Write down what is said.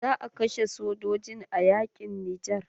Za a kashe sojojin a yaƙin nijar.